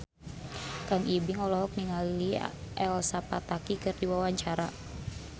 Kang Ibing olohok ningali Elsa Pataky keur diwawancara